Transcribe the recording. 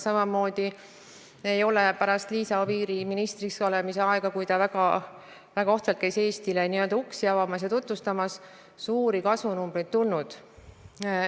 Samamoodi ei ole pärast Liisa Oviiri ministriks olemise aega, kui ta väga ohtralt käis Eestile n-ö uksi avamas ja meid tutvustamas, suuri kasvunumbreid tulnud.